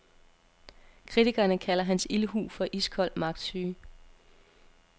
Kritikerne kalder hans ildhu for iskold magtsyge.